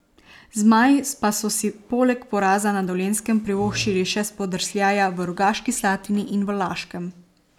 Zmaji pa so si poleg poraza na Dolenjskem privoščili še spodrsljaja v Rogaški Slatini in v Laškem.